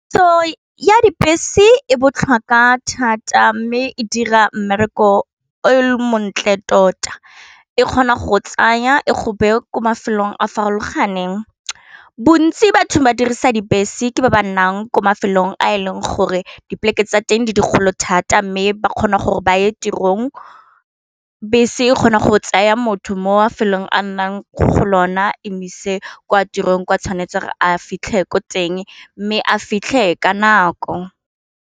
So ya dibese e botlhokwa thata mme e dira mmereko e montle tota, e kgona go tsaya e gope ko mafelong a farologaneng bontsi batho ba dirisa dibese ke ba ba nnang ko mafelong a e leng gore dipoleke tsa teng di digolo thata mme ba kgona gore ba ye tirong bese e kgona go tsaya motho mo mafelong a nnang go lona e moise kwa tirong kwa tshwanetse re a fitlhe ko teng mme a fitlhe ka nako.